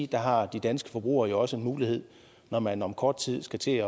der har de danske forbrugere jo også en mulighed når man om kort tid skal til